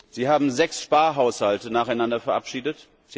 Sie haben sechs Sparhaushalte nacheinander verabschiedet.